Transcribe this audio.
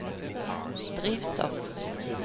drivstoff